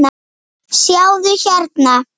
sjáðu, hérna.